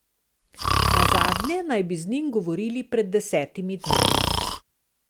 Nazadnje naj bi z njim govorili pred desetimi dnevi.